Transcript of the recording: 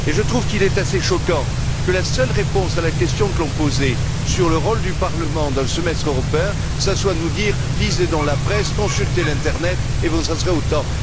Je trouve qu'il est assez choquant que la seule réponse à la question que l'on posait sur le rôle du Parlement dans le semestre européen, ce soit de nous dire Lisez donc la presse, consultez l'internet et vous en saurez autant.